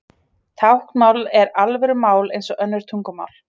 Táknmál er alvöru mál eins og önnur tungumál.